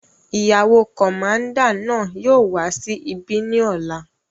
Ìyàwó kọ̀máúndà náà yóò wà sí ibí ni ọ́la